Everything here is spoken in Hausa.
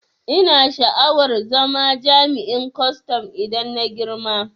Ina sha'awar zama jami'in kwaston idan na girma